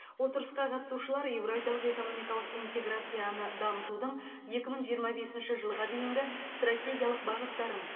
отырысқа қатысушылар еуразиялық экономикалық интеграцияны дамытудың екі мың жиырма бесінші жылға дейінгі стратегиялық бағыттарын